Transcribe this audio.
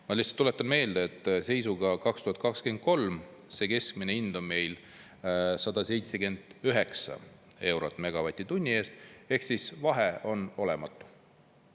Ma lihtsalt tuletan meelde, et seisuga 2023 see keskmine hind on meil 179 eurot megavatt-tunni eest ehk vahe on olematu.